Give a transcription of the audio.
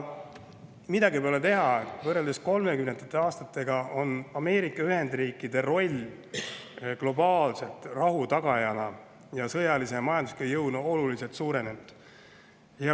Midagi pole teha, võrreldes 1930. aastatega on Ameerika Ühendriikide roll globaalse rahu tagajana ning sõjalise ja majandusliku jõuna oluliselt suurenenud.